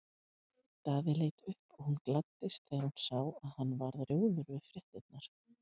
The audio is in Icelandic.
Daði leit upp og hún gladdist þegar hún sá að hann varð rjóður við fréttirnar.